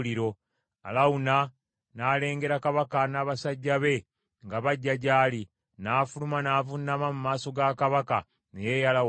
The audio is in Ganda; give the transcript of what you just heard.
Alawuna n’alengera kabaka n’abasajja be nga bajja gy’ali, n’afuluma n’avuunama mu maaso ga kabaka, ne yeeyala wansi.